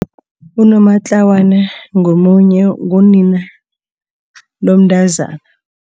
Unomatlawana ngomunye, ngunina lomntazana.